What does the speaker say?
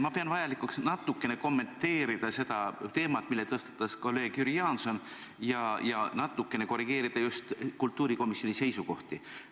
Ma pean vajalikuks natukene kommenteerida seda teemat, mille tõstatas kolleeg Jüri Jaanson, ja natukene korrigeerida just kultuurikomisjoni seisukohti.